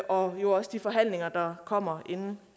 og jo også de forhandlinger der kommer inden